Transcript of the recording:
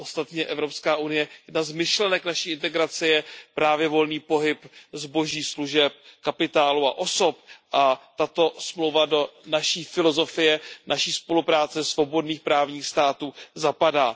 Ostatně Evropská unie, jedna z myšlenek naší integrace, je právě volný pohyb zboží, služeb, kapitálu a osob, a tato dohoda do naší filozofie, naší spolupráce svobodných právních států zapadá.